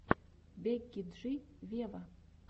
бекки джи вево